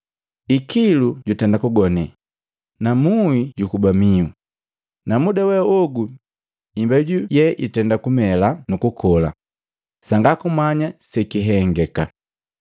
Ikilu jutenda kugone, na muhi jukuba mihu, na muda we ogu imbeju ye itenda kumela nu kukola. Jombi sanga kumanya sekihengeka.